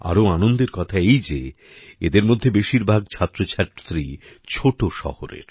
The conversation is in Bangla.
আরো আনন্দের কথা এই যে এদের মধ্যে বেশীরভাগ ছাত্রছাত্রী ছোটো শহরের